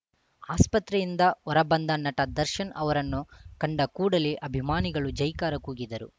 ಆಸ್ಪತ್ರೆಯಿಂದ ಹೊರ ಬಂದ ನಟ ದರ್ಶನ್‌ ಅವರನ್ನು ಕಂಡ ಕೂಡಲೇ ಅಭಿಮಾನಿಗಳು ಜೈಕಾರ ಕೂಗಿದರು